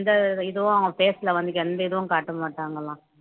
எந்த இதுவும் அவுங்க face ல வந்து எந்த இதுவும் காட்ட மாட்டாங்களாம்